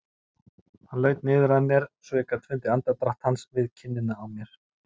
Hann laut niður að mér svo ég gat fundið andardrátt hans við kinnina á mér.